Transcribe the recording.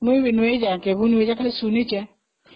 ମୁଁ ବି ଯାଇନାହିଁ , ଖାଲି ଶୁଣିଛି